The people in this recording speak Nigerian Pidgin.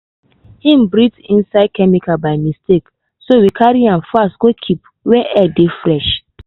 hin breathe in chemical by mistake so we carry am fast go keep where air dey fresh.